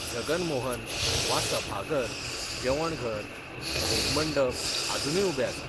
जगन मोहन, वा, सभाघर, जेवणघर, भोग मंडप आजूनय उबे आसात.